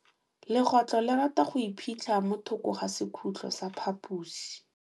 Legôtlô le rata go iphitlha mo thokô ga sekhutlo sa phaposi.